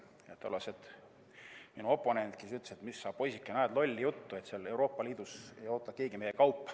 Minu tollane oponent ütles, et mis sa, poisike, ajad lolli juttu, Euroopa Liidus ei oota keegi meie kaupa.